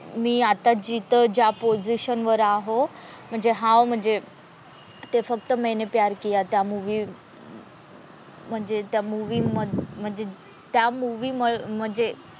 मी आता जिथं ज्या पोसिशन वर आहो म्हणजे हाओ म्हणजे ते फक्त मैने प्यार किया त्या मूवी म्हणजे त्या मूवी म्हणजे त्या मूवी म्हणजे,